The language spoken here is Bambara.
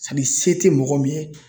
Ani se tɛ mɔgɔ min ye.